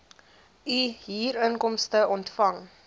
u huurinkomste ontvang